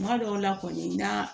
Kuma dɔw la kɔni na